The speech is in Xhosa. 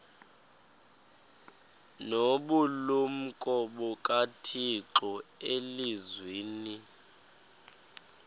nobulumko bukathixo elizwini